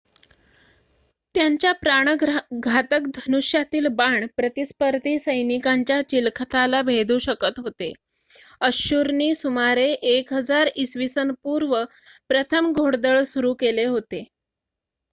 त्यांच्या प्राणघातक धनुष्यातील बाण प्रतिस्पर्धी सैनिकांच्या चिलखताला भेदू शकत होते. अश्शूरनी सुमारे 1000 ई.पू. प्रथम घोडदळ सुरु केले होते